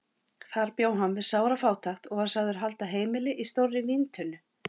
Þar bjó hann við sára fátækt og var sagður halda heimili í stórri víntunnu.